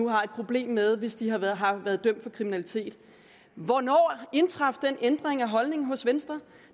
har et problem med hvis de har været har været dømt for kriminalitet hvornår indtraf den ændring af holdningen hos venstre